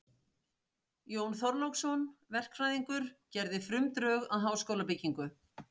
Jón Þorláksson, verkfræðingur, gerði frumdrög að háskólabyggingu